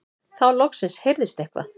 Þá loksins heyrðist eitthvað.